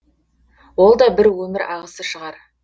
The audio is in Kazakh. ол да бір өмір ағысы шығар